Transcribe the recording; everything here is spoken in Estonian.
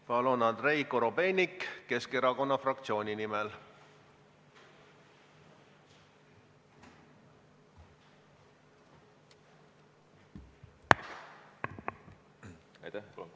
Järgmisena Andrei Korobeinik Keskerakonna fraktsiooni nimel.